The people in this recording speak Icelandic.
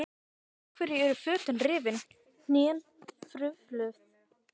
Af hverju eru fötin rifin, hnén hrufluð?